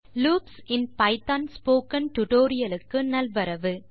loops இன் Python tutorial க்கு நல்வரவு